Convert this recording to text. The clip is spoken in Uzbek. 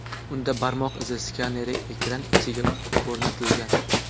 Unda barmoq izi skaneri ekran ichiga o‘rnatilgan.